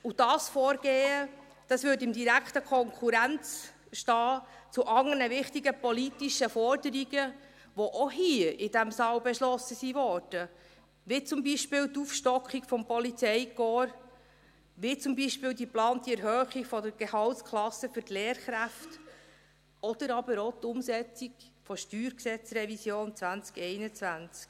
Dieses Vorgehen stünde in direkter Konkurrenz zu anderen wichtigen politischen Forderungen, die auch hier in diesem Saal beschlossen wurden, wie zum Beispiel die Aufstockung des Polizeikorps, wie zum Beispiel die geplante Erhöhung der Gehaltsklasse für die Lehrkräfte oder aber auch die Umsetzung der Steuergesetz(StG)-Revision 2021.